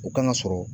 U kan ka sɔrɔ